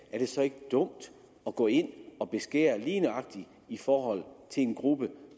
er det så ikke dumt at gå ind og beskære lige nøjagtig i forhold til en gruppe